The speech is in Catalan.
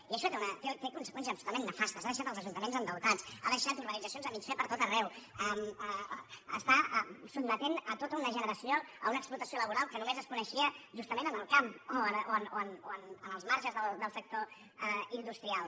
i això té conseqüències absolutament nefastes ha dei·xat els ajuntaments endeutats ha deixat urbanitza·cions a mig fer per tot arreu està sotmetent tota una generació a una explotació laboral que només es co·neixia justament en el camp o en els marges del sec·tor industrial